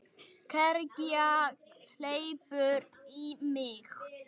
Kergja hleypur í mig.